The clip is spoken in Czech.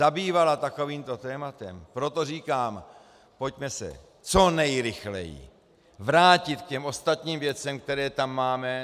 - zabývala takovýmto tématem, proto říkám, pojďme se co nejrychleji vrátit k těm ostatním věcem, které tam máme.